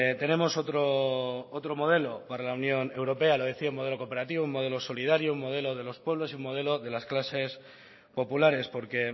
tenemos otro modelo para la unión europea lo decía un modelo cooperativo un modelo solidario un modelo de los pueblos y un modelo de las clases populares porque